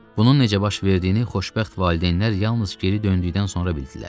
Bunun necə baş verdiyini xoşbəxt valideynlər yalnız geri döndükdən sonra bildilər.